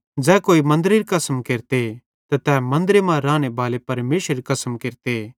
ज़ै कोई मन्दरेरी कसम केरते त तै मन्दरे मां रानेबाले परमेशरेरी कसम केरते